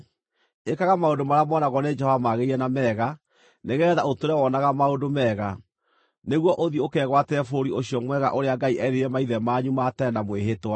Ĩkaga maũndũ marĩa moonagwo nĩ Jehova magĩrĩire na mega, nĩgeetha ũtũũre wonaga maũndũ mega, nĩguo ũthiĩ ũkegwatĩre bũrũri ũcio mwega ũrĩa Ngai eerĩire maithe manyu ma tene na mwĩhĩtwa,